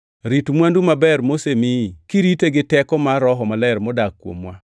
Rit mwandu maber mosemiyi, kirite gi teko mar Roho Maler modak kuomwa.